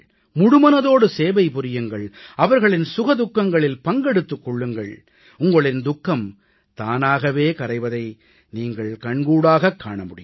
முழுமனதோடு சேவை புரியுங்கள் அவர்களின் சுக துக்கங்களில் பங்கெடுத்துக் கொள்ளுங்கள் உங்களின் துக்கம் தானாகவே கரைவதை நீங்கள் கண்கூடாகக் காண முடியும்